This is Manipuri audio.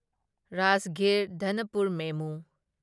ꯔꯥꯖꯒꯤꯔ ꯗꯅꯄꯨꯔ ꯃꯦꯃꯨ